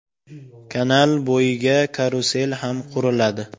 Kanal bo‘yiga karusel ham quriladi.